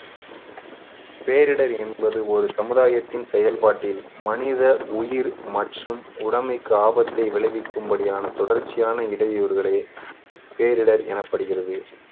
பேரிடர் என்பது ஒரு சமுதாயத்தின் செயல்பாட்டில் மனித உயிர் மற்றும் உடமைக்கு ஆபத்தை விளைவிக்கும்படியான தொடர்ச்சியான இடையூறுகளே பேரிடர் எனப்படுகிறது